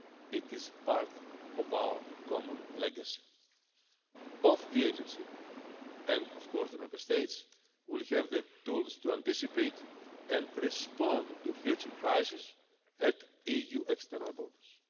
It is part of our common legacy. Both the agency, and of course the Member States, will have the tools to anticipate and respond to future crises at the EU's external borders.